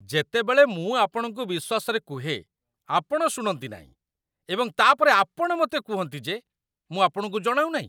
ଯେତେବେଳେ ମୁଁ ଆପଣଙ୍କୁ ବିଶ୍ୱାସରେ କୁହେ, ଆପଣ ଶୁଣନ୍ତି ନାହିଁ, ଏବଂ ତା'ପରେ ଆପଣ ମୋତେ କୁହନ୍ତି ଯେ ମୁଁ ଆପଣଙ୍କୁ ଜଣାଉନାହିଁ।